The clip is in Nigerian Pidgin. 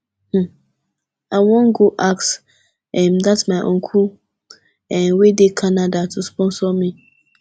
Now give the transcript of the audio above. um i wan go ask um dat my uncle um wey dey canada to sponsor me